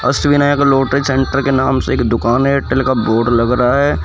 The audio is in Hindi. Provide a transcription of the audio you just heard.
अष्टविनायक लॉटरी सेंटर के नाम से एक दुकान एयरटेल का बोर्ड लग रहा है।